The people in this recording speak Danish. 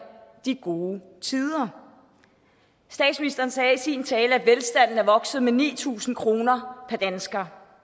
de gode tider statsministeren sagde i sin tale at velstanden er vokset med ni tusind kroner per dansker